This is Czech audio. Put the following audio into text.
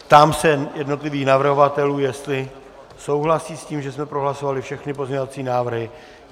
Ptám se jednotlivých navrhovatelů, jestli souhlasí s tím, že jsme prohlasovali všechny pozměňovací návrhy.